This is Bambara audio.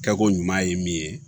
Kɛko ɲuman ye min ye